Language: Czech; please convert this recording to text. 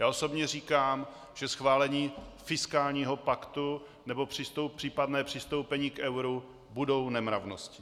Já osobně říkám, že schválení fiskálního paktu nebo případné přistoupení k euru budou nemravností.